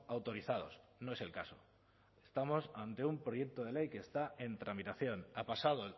autorizados no es el caso estamos ante un proyecto de ley que está en tramitación ha pasado